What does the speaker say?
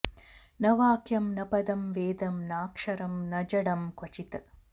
न वाक्यं न पदं वेदं नाक्षरं न जडं क्वचित्